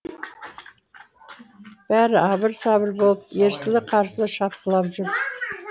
бәрі абыр сабыр болып ерсілі қарсылы шапқылап жүр